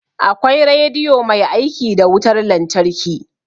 Akwai rediyo mai aiki da wutar lantarki